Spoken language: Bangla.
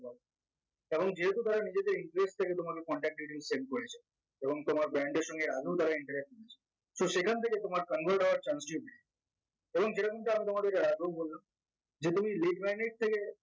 এখন যেহেতু তারা নিজেদের influence থেকে তোমাকে contact reading send করেছে এবং তোমার brand এর সঙ্গে আদৌ তারা interact করেছে তো সেখান থেকে তোমার convert হওয়ার chance এবং যেটা কিন্তু আমি তোমাদেরকে এর আগেও বললাম যে তুমি থেকে